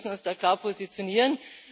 Wir müssen uns da klar positionieren.